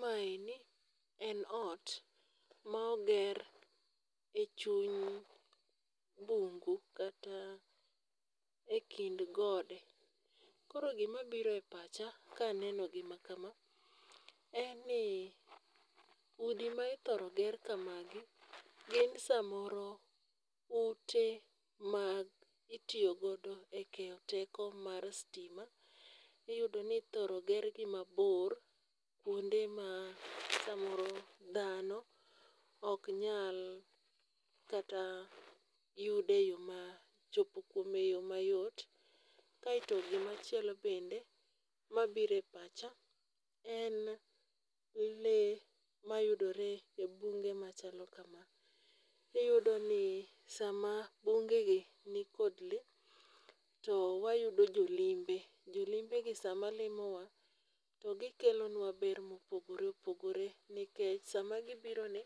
Maeni en ot ma oger e chuny bungu, kata e kind gode. Koro gima biro e pacha ka aneno gima kama, en ni udi ma ithoro ger kamagi, gin samoro ute mag itiyo godo e keyo teko mar stima. Iyudo ni ithoro ger gi mabor, kuonde ma samoro dhano ok nyal kata yude yo ma chopo kuome e yo mayot. Kaeto gima chielo bende mabiro e pacha en le mayudore e bunge machalo kama. Iyudo ni sama bunge gi nikod le, to wayudo jo limbe, jolimbe gi sama limowa, to gikelonwa ber mopogore opogore, nikech sama gibiro ni,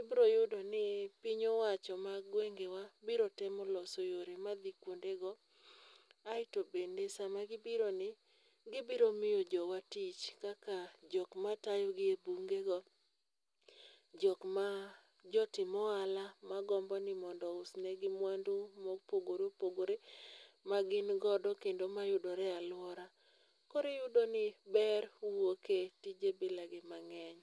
ibiro yudo ni piny owacho mag gwengewa, biro temo loso yore madhi kuondego. Aeto bende sama gibiro ni, gibiro miyo jowa tich, kaka jokma tayo gi e bunge go, jokma jotim ohala magombo ni mondo ousnegi mwandu ma opogore opogore ma gin godo kendo mayudore e alwora. Koro iyudoni ber wuoke tije bila ni mang'eny.